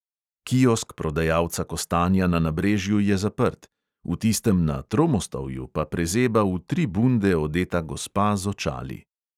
Kiosk prodajalca kostanja na nabrežju je zaprt, v tistem na tromostovju pa prezeba v tri bunde odeta gospa z očali.